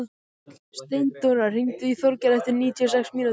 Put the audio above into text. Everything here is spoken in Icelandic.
Steindóra, hringdu í Þorgerði eftir níutíu og sex mínútur.